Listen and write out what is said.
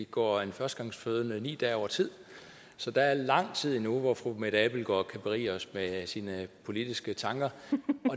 går en førstegangsfødende ni dage over tid så der er lang tid endnu hvor fru mette abildgaard kan berige os med sine politiske tanker